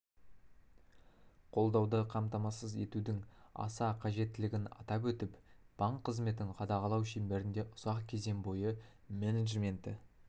қолдауды қамтамасыз етудің аса қажеттілігін атап өтіп банк қызметін қадағалау шеңберінде ұзақ кезең бойы менеджменті